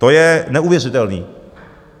To je neuvěřitelné.